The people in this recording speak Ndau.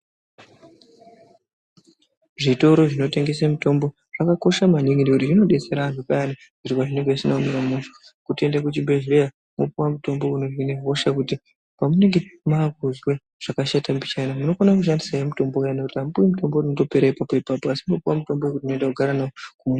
Zvitoro zvinotengese mutombo zvakakosha maningi ngekuti zvinodetsera antu payani zviro pazvinenge zvisina kumira mushe , kuti tiende kuzvibhedhleya wopuwa mutombo unohine hosha kuti pamunenge maakuzwe zvakashata mbichana munokone kushandise mutombo uyani ngekuti apmuwi mutombo unondopera ipapo ipapo asi munopuwa mutombo wekuti munoenda koogara .....